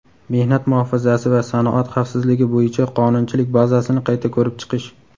mehnat muhofazasi va sanoat xavfsizligi bo‘yicha qonunchilik bazasini qayta ko‘rib chiqish;.